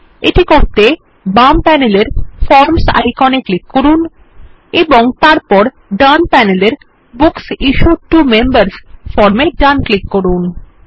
এটি করতে বাম প্যানেলের ফর্মস আইকন এ ক্লিক করুন এবং তারপর ডান প্যানেলের books issued to members form এ ডান ক্লিক করুন